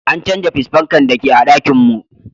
An canza fis fankan da ke a'ɗakin mun.